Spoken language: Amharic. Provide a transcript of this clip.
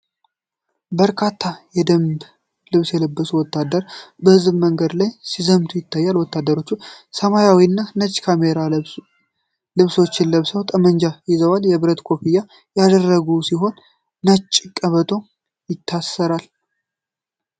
በርካታ የደንብ ልብስ የለበሱ ወታደሮች በሕዝብ መንገድ ላይ ሲዘምቱ ይታያሉ። ወታደሮቹ ሰማያዊና ነጭ ካሜራ ልብሶችን ለብሰው ጠመንጃ ይዘዋል። የብረት ኮፍያ ያደረጉ ሲሆን ነጭ ቀበቶ ይታሠራሉ።